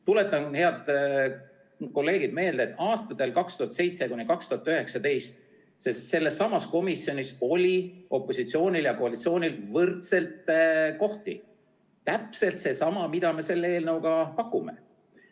Tuletan teile, head kolleegid, meelde, et sellessamas komisjonis oli aastatel 2007–2019 opositsioonil ja koalitsioonil võrdselt kohti – täpselt sama, mida me selle eelnõuga pakume.